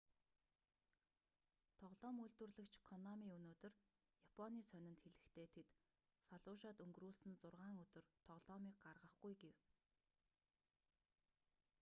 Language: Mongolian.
тоглоом үйлдвэрлэгч конами өнөөдөр японы сонинд хэлэхдээ тэд фаллужад өнгөрүүлсэн зургаан өдөр тоглоомыг гаргахгүй гэв